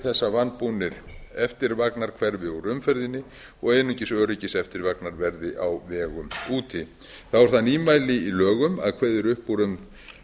þess að vanbúnir eftirvagnar hverfi úr umferðinni og einungis öryggiseftirvagnar verði á vegum úti þá er það nýmæli í lögum að kveðið er upp úr um